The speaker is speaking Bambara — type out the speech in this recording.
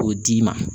K'o d'i ma